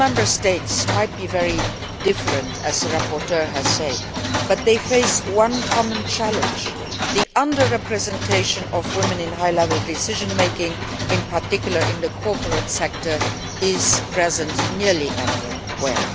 EU Member States might be very different, as the rapporteur has said, but they face a common challenge the under representation of women in high level decision making, in particular in the corporate sector, is a reality almost everywhere.